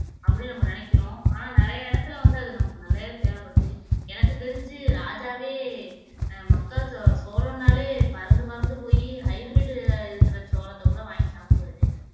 அப்படின்னு நம்ம நினைக்கிறோம் ஆனால் நிறைய இடத்துல வந்து அது நமக்கு நல்லாவே தேவைப்படுது எனக்குத் தெரிஞ்சு ராஜாவே ஆஹ் மக்கா சோ சோளம்னாலே பறந்து பறந்து போயி hybrid உ இருக்கிற சோளத்தைக் கூட வாங்கி சாப்பிடுவாரு